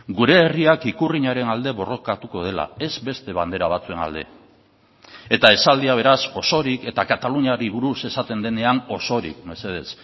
gure herriak ikurriñaren alde borrokatuko dela ez beste bandera batzuen alde eta esaldia beraz osorik eta kataluniari buruz esaten denean osorik mesedez